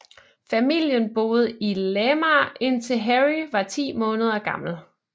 Familien boede i Lamar indtil Harry var ti måneder gammel